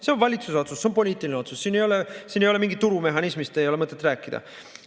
See on valitsuse otsus, see on poliitiline otsus, siin ei ole mingist turumehhanismist mõtet rääkida.